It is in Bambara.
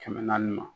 Kɛmɛ naani